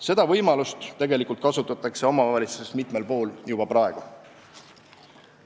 Seda võimalust tegelikult kasutatakse omavalitsustes mitmel pool juba praegu.